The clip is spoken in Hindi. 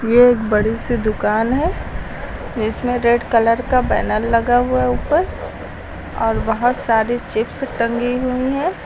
ये एक बड़ी सी दुकान है इसमें रेड कलर का बैनर लगा हुआ है ऊपर और बहुत सारी चिप्स टंगी हुई हैं।